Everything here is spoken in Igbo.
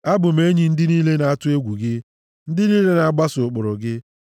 Abụ m enyi ndị niile na-atụ egwu gị, ndị niile na-agbaso ụkpụrụ gị.